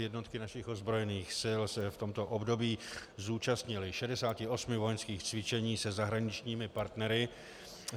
Jednotky našich ozbrojených sil se v tomto období zúčastnily 68 vojenských cvičení se zahraničními partnery.